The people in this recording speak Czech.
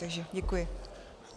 Takže děkuji.